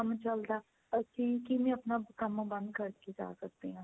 ਕੰਮ ਚੱਲਦਾ ਅਸੀਂ ਕਿਵੇਂ ਆਪਣਾ ਕੰਮ ਬੰਦ ਕਰਕੇ ਜਾ ਸਕਦੇ ਆ